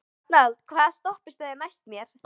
Arnald, hvaða stoppistöð er næst mér?